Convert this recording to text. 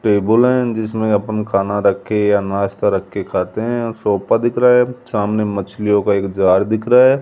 Table हैं जिसमें अपन खाना रख के या नाश्ता रख के खाते हैं और सोफा दिख रहा है सामने मछलियों का एक जार दिख रहा है।